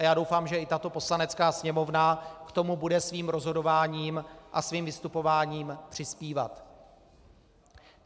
A já doufám, že i tato Poslanecká sněmovna k tomu bude svým rozhodováním a svým vystupováním přispívat.